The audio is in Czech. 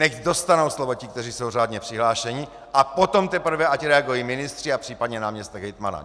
Nechť dostanou slovo ti, kteří jsou řádně přihlášeni, a potom teprve, ať reagují ministři a případně náměstek hejtmana.